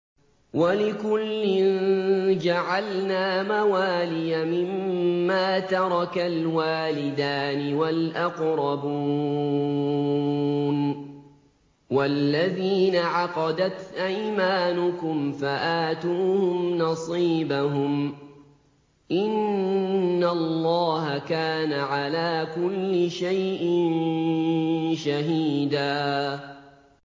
وَلِكُلٍّ جَعَلْنَا مَوَالِيَ مِمَّا تَرَكَ الْوَالِدَانِ وَالْأَقْرَبُونَ ۚ وَالَّذِينَ عَقَدَتْ أَيْمَانُكُمْ فَآتُوهُمْ نَصِيبَهُمْ ۚ إِنَّ اللَّهَ كَانَ عَلَىٰ كُلِّ شَيْءٍ شَهِيدًا